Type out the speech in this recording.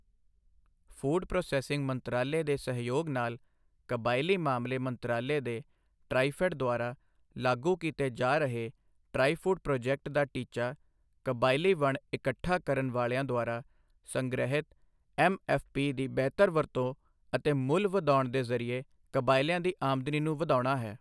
Food processing ਮੰਤਰਾਲੇ ਦੇ ਸਹਿਯੋਗ ਨਾਲ ਕਬਾਇਲੀ ਮਾਮਲੇ ਮੰਤਰਾਲੇ ਦੇ ਟ੍ਰਾਈਫੈੱਡ ਦੁਆਰਾ ਲਾਗੂ ਕੀਤੇ ਜਾ ਰਹੇ ਟ੍ਰਾਈਫ਼ੂਡ ਪ੍ਰੋਜੈਕਟ ਦਾ ਟੀਚਾ ਕਬਾਇਲੀ ਵਣ ਇਕੱਠਾ ਕਰਨ ਵਾਲਿਆਂ ਦੁਆਰਾ ਸੰਗ੍ਰਹਿਤ ਐੱਮਐੱਫ਼ਪੀ ਦੀ ਬਿਹਤਰ ਵਰਤੋਂ ਅਤੇ ਮੁੱਲ ਵਧਾਉਣ ਦੇ ਜ਼ਰੀਏ ਕਬਾਇਲੀਆਂ ਦੀ ਆਮਦਨੀ ਨੂੰ ਵਧਾਉਣਾ ਹੈ।